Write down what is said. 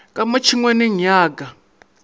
ka mo tšhengwaneng ya ka